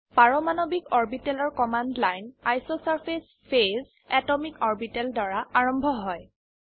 পাৰমাণবিক অৰবিটেলৰ command line ইছচাৰ্ফেচ ফেজ এটমিক অৰ্বিটেল দ্বাৰা আৰম্ভ হয়